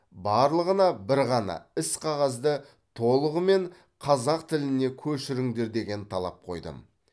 барлығына бір ғана іс қағазды толығымен қазақ тіліне көшіріңдер деген талап қойдым